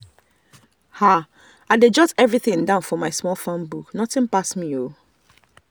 i dey jot everything down for my small farm book nothing pass me.